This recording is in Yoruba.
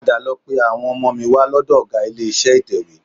Padà lọ pe àwọn ọmọ mi wá lọ́dọ̀ ọgá ilé-iṣẹ́ ìtẹ̀wé